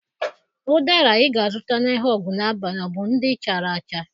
Ụdara ị ga-azụta n'ahịa Ogunabali ọ bụ ndị chara acha?